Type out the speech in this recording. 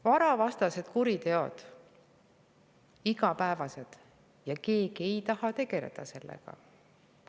Varavastased kuriteod on igapäevased ja keegi ei taha tegeleda selle.